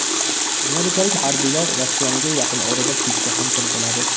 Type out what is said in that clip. Amerikalik harbiylar ratsioniga yaqin orada pitssa ham kiritiladi.